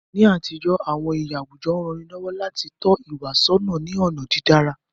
Ni àtijọ́, àwọn iyì àwùjọ rán ni lọ́wọ́ láti tọ́ ìwà sọ́nà ní ọ̀nà dídára.